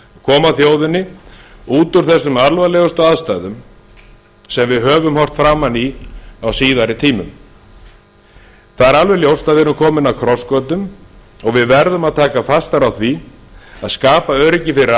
koma þjóðinni út úr þessum alvarlegustu aðstæðum sem við höfum horft framan í á síðari tímum það er alveg ljóst að við erum komin að krossgötum og við verðum að taka fastar á því að skapa öryggi fyrir